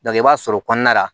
i b'a sɔrɔ kɔnɔna la